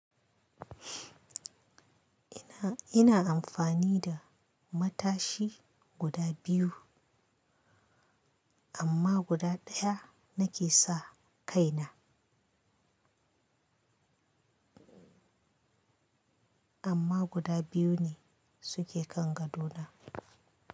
Ina, ina amfani da matashi guda biyu amma guda ɗaya nake sa kai na amma guda biyu ne suke kan gado na.